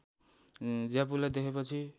ज्यापुलाई देखेपछि